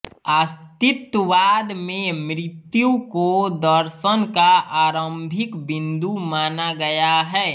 अस्तित्ववाद में मृत्यु को दर्शन का आरंभिक बिंदु माना गया है